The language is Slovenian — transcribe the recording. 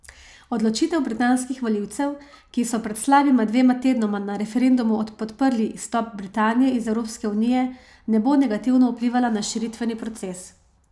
Odločitev britanskih volivcev, ki so pred slabima dvema tednoma na referendumu podprli izstop Britanije iz Evropske unije, ne bo negativno vplivala na širitveni proces.